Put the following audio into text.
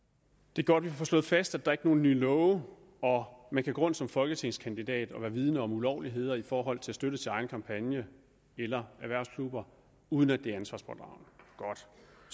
det er godt vi får slået fast at der ikke er nogen nye love og at man kan gå rundt som folketingskandidat og være vidende om ulovligheder i forhold til støtte til egen kampagne eller erhvervsklubber uden at det